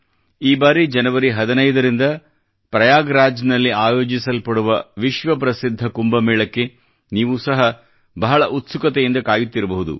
ಈ ಬಾರಿ ಜನವರಿ 15 ರಿಂದ ಪ್ರಯಾಗ್ ರಾಜ್ ನಲ್ಲಿ ಆಯೋಜಿಸಲ್ಪಡುವ ವಿಶ್ವ ಪ್ರಸಿದ್ಧ ಕುಂಭ ಮೇಳಕ್ಕೆ ನೀವೂ ಸಹ ಬಹುಶಃ ಬಹಳ ಉತ್ಸುಕತೆಯಿಂದ ಕಾಯುತ್ತಿರಬಹುದು